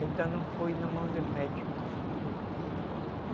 Ainda não foi na mão de médico.